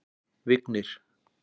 Vignir